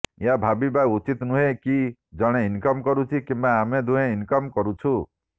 ଏହା ଭାବିବା ଉଚିତ୍ ନୁହେଁ କି ଜଣେ ଇନକମ୍ କରୁଛି କିମ୍ବା ଆମେ ଦୁହେଁ ଇନକମ୍ କରୁଛୁ